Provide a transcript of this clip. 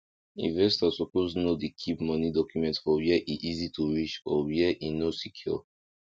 investors suppose no dey keep money document for where e easy to reach or where e no secure